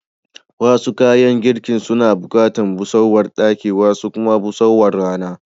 Wasu kayan girkin suna bukatar busarwar daki, wasu kuma busarwar Rana.